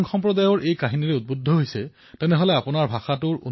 অৰ্থাৎ বিলুপ্তিৰ পথলৈ আগবঢ়া ভাষাসমূহক সংৰক্ষিত কৰাত গুৰুত্ব প্ৰদান কৰা হৈছে